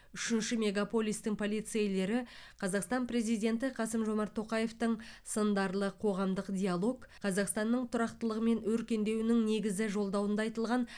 үшінші мегаполистің полицейлері қазақстан президенті қасым жомарт тоқаевтың сындарлы қоғамдық диалог қазақстанның тұрақтылығы мен өркендеуінің негізі жолдауында айтылған